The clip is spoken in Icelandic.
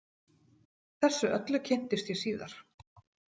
Þessu öllu kynntist ég síðar.